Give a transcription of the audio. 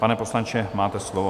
Pane poslanče, máte slovo.